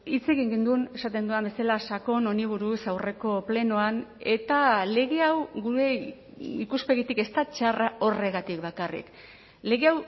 hitz egin genuen esaten dudan bezala sakon honi buruz aurreko plenoan eta lege hau gure ikuspegitik ez da txarra horregatik bakarrik lege